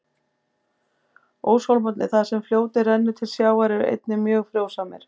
Óshólmarnir, þar sem fljótið rennur til sjávar, eru einnig mjög frjósamir.